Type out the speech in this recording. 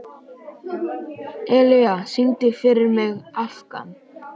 Elía, syngdu fyrir mig „Afgan“.